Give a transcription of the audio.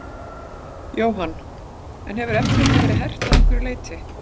Jóhann: En hefur eftirlitið verið hert að einhverju leyti?